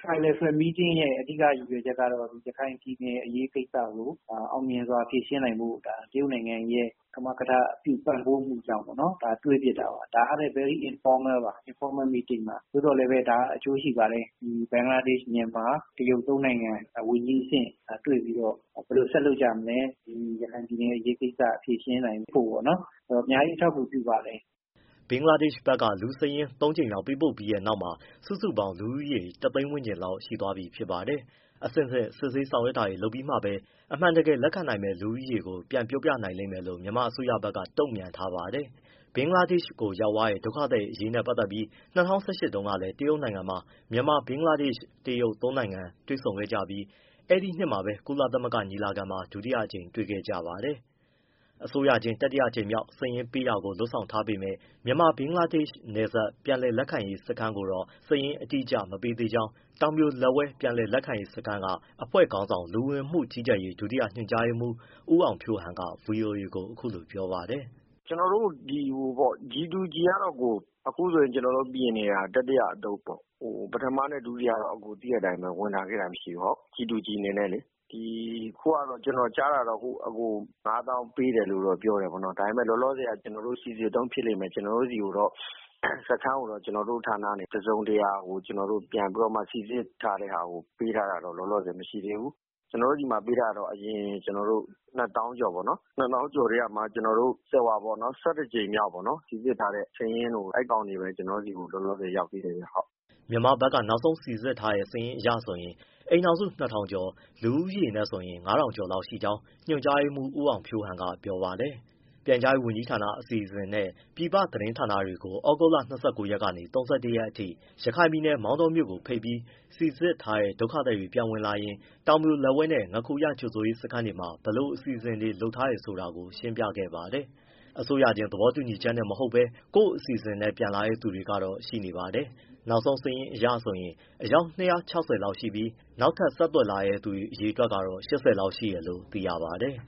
Tri-lateral meeting ရဲ့ အဓိက ရည်ရွယ်ချက်ကတော့ ရခိုင်ပြည်နယ် အရေးကိစ္စကို အောင်မြင်စွာ ဖြေရှင်းနိုင်ဖို့ တရုတ်နိုင်ငံရဲ့ ကမကထ ပံ့ပိုးမှုကြောင့်ပေါ့နော် တွေ့ဖြစ်တာပါ။ ဒါကလည်း Very informal ပါ။ သို့သော်လည်းပဲ ဒါက အကျိုးရှိပါတယ်။ ဘင်္ဂလားဒေရှ့် ၊ မြန်မာ၊ တရုတ် သုံးနိုင်ငံ ဝန်ကြီးအဆင့် တွေ့ပြီးတော့ ဘယ်လိုဆက်လုပ်ကြမလဲ၊ ရခိုင်ပြည်နယ် အရေးကိစ္စ ဖြေရှင်းနိုင်ဖို့ပေါ့နော်။ အဲဒီတော့ အများကြီး အထောက်အကူ ပြုပါတယ်။” ဘင်္ဂလားဒေရှ့်ဘက်က လူစာရင်း သုံးကြိမ်မြောက်ပေးပို့ခဲ့ပြီးတဲ့နောက်မှာ စုစုပေါင်း လူဦးရေ ၁သိန်း ဝန်းကျင်လောက် ရှိသွားပြီ ဖြစ်ပါတယ်။ အဆင့်ဆင့် စစ်ဆေးဆောင် ရွက်တာတွေ လုပ်ပြီးမှပဲ အမှန်တကယ် လက်ခံနိုင်မယ့် လူဦးရေကို ပြောနိုင်လိမ့်မယ်လို့ မြန်မာအစိုးရဘက်က တုံ့ပြန်ထားပါတယ်။ ဘင်္ဂလားဒေရှ့် ရောက်သွားတဲ့ ဒုက္ခသည်တွေအရေးနဲ့ ပတ်သက်ပြီး ၂၀၁၈ တုန်းကလည်း တရုတ်နိုင်ငံမှာ မြန်မာ၊ ဘင်္ဂလားဒေရှ့်၊ တရုတ် သုံးပွင့်ဆိုင်တွေ့ခဲ့ ကြသလို အဲဒီနှစ်ထဲမှာပဲ ကုလသမဂ္ဂညီလာခံမှာ ဒုတိယအကြိမ် တွေ့ခဲ့ကြပါတယ်။ အစိုးရချင်း တတိယအကြိမ်မြောက် စာရင်းပေးတာကို လုပ်ဆောင်ထားပေမဲ့ မြန်မာ- ဘင်္ဂလား ဒေရှ့် နယ်စပ် ပြန်လည်လက်ခံရေးစခန်းကိုတော့ စာရင်းအတိအကျ အပေးသေးကြောင်း တောင်ပြိုလက်ဝဲ ပြန်လည်လက်ခံရေးစခန်းက အဖွဲ့ခေါင်းဆောင် လူဝင်မှုကြီးကြပ်ရေး ဒုတိယ ညွှန်ကြားရေးမှူး ဦးအောင်ဖြိုးဟန် က ဗွီအိုအေကို အခုလိုပြောပြပါတယ်။ “ ကျနော်တို့ G to G ကတော့ အခုဆိုရင် ကျနော်တို့ ပြင်နေတာ တတိယအသုတ်ပေါ့။ ပထမနဲ့ ဒုတိယအသုတ်ကတော့ သိတဲ့အတိုင်းပဲ ဝင်လာခဲ့တာ မရှိဘူး G to G အနေနဲ့လေ။ အခုကတော့ ကျနော်ကြားတာကတော့ ၅သောင်းပေးတယ်လို့တော့ ပြောတယ်ပေါ့နော်။ ဒါပေမဲ့လည်း လောလောဆယ်တော့ စိစစ်တုန်း ဖြစ်လိမ့်မယ်၊ ကျနော်တို့ ဆီကိုတော့ စခန်းကိုတော့ ကျနော်တို့ဌာနကနေ တစုံတရာ စိစစ်ထားတဲ့ဟာကို ပေးထားတာတော့ လောလောဆယ် မရှိသေးဘူး။ ကျနော်တို့ဆီမှာ ပေးထားတာတော့ အရင် ၂သောင်းကျော်ထဲက ကြိမ်မြောက် စိစစ်ထားတဲ့ စာရင်းပဲ ကျနော်တို့ဆီ လောလောဆယ် ရောက်သေးတယ်။” မြန်မာဘက်က နောက်ဆုံး စိစစ်ထားတဲ့ စာရင်းအရဆိုရင် အိမ်ထောင်စု ၂၀၀၀ ကျော်၊ လူဦးရေနဲ့ဆိုရင် ၅ထောင်ကျော်လောက် ရှိကြောင်း ညွှန်ကြားရေးမှူး ဦးအောင်ဖြိုးဟန်က ပြောပါတယ်။ ပြန်ကြားရေးဝန်ကြီးဌာနက အစီအစဉ်နဲ့ ပြည်ပသတင်းဌာနတွေကို သြဂုတ်လ ၂၉ ရက်ကနေ ၃၁ ရက်အထိ ရခိုင်ပြည်နယ် မောင်တောမြို့ကိုဖိတ်ပြီး စိစစ်ထားတဲ့ ဒုက္ခသည်တွေပြန်ဝင်လာရင် တောင်ပြိုလက်ဝဲနဲ့ ငါးခူရ ကြိုဆိုရေးစခန်းတွေမှာ ဘယ်လိုအစီအစဉ်တွေလုပ်ထားတယ် ဆိုတာကို ရှင်းပြခဲ့ပါတယ်။ အစိုးရချင်း သဘောတူညီချက်နဲ့မဟုတ်ဘဲ ကိုယ့်အစီအစဉ်နဲ့ ပြန်လာတဲ့ သူတွေကတော့ ရှိနေပါတယ်။ နောက်ဆုံးစာရင်းအရဆိုရင် အယောက် ၂၆၀ ကျော်ရှိပြီး နောက်ထပ် ဆက်သွယ်လာတဲ့သူက အယောက် ၈၀လောက်ရှိတယ်လို့ သိရပါတယ်။